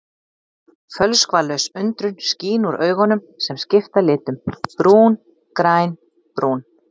Fölskvalaus undrun skín úr augunum sem skipta litum: brún, græn, brún.